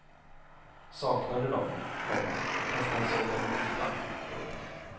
Saknade dem, komma fastän han såg dem ofta. punkt